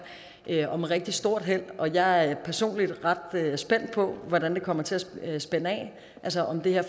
og med rigtig stort held og jeg er personligt ret spændt på at se hvordan det kommer til at spænde af altså om det her